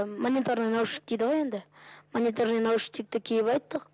мониторный наушник дейді ғой енді мониторный наушникті киіп айттық